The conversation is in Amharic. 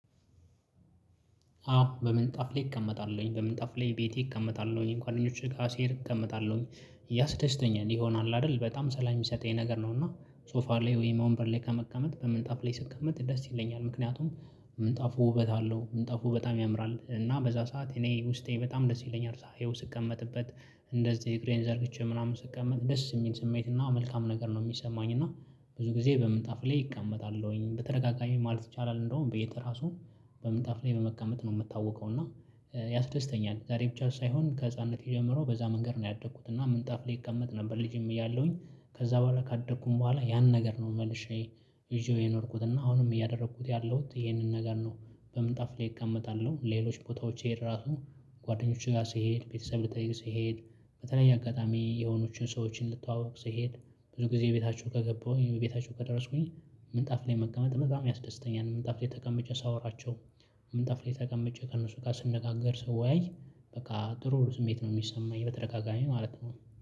አዎ በምንጣፍ ላይ እቀመጣለሁኝ በምን ጠፍ ላይ ቤቴ እቀመጣለሁኝ እንኳን አደኞች ጋር ሲሄድ እቀመጣለሁኝ እያስደስተኛል ይሆናል አይደል በጣም ሰላም የሚሰጠኝ ነገር ነውና። ሶፋ ላይ ወይ ወንበር ላይ ከመቀመጥ በምንጣፍ ላይ ስቀመጥ ስትቀመጥ ደስ ይለኛል ምክንያቱም ምንጣፉ ውበት አለው ምንጣፉ በጣም ያምራል እና በዛ ሰዓት እኔ ውስጤ በጣም ደስ ይለኛል ሳየው ስቀመጥበት እንደዚህ እግሬን ዘርግቼ ምናምን ስቀመጥ ደስ የሚል ስሜትና መልካም ነገር ነው። የሚሰማኝ እና ብዙ ጊዜ በምንጣፍ ላይ እቀመጣለሁኝ በተረጋጋሚ ማለት ይቻላል እንደውም ቤት ራሱ በምን ታፍ ላይ በመቀመጥ ነው የምታወቀው። እና ያስደስተኛል ዛሬ ብቻ ሳይሆን ከህፃንነት ጀምሮ በዛ መንገድ ነው ያደግኩት። እና ምንጣፍ እቀመጥ ነበር ልጅም እያለሁኝ ከዛ በኋላ ካደኩኝ በኋላ ያን ነገር ነው መልሼ ይዤው የኖርኩት እና አሁንም እያደረኩት ያለሁት ይሄንን ነገር ነው። በምን ጣፍ ላይ እቀመጣለሁ ሌሎች ቦታዎች ይሄድ ራሱ ጓደኞቹ ጋር ስሄድ ቤተሰብ ልትጠይቅ ስሄድ በተለይ አጋጣሚ የሆኖችን ሰዎችን ልትዋወቅ ስሄድ ብዙ ጊዜ ቤታቸው ከገባሁኝ ቤታቸው ከደረስኩኝ ምንጣፍ ላይ መቀመጥ በጣም ያስደስተኛል ምንጣፍ ላይ ተቀምጬ ሳወራቸው። ምንጣፍ ላይ ተቀምጬ ከእነሱ ጋር ስንነጋገር ሰው ወያይ በቃ ጥሩ ስሜት ነው የሚሰማኝ በተደጋጋሚ ማለት ነው።